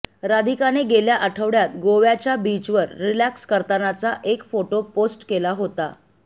राधिकाने गेल्या आठवड्यात गोव्याच्या बीचवर रिलॅक्स करतानाचा एक फोटो पोस्ट केला होता